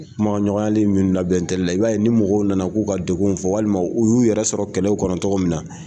Kuma ɲɔgɔnyali min labɛn la, i b'a ye ni mɔgɔw nana k'u ka dekunw fɔ walima u y'u yɛrɛ sɔrɔ kɛlɛ in kɔnɔ tɔgɔ min na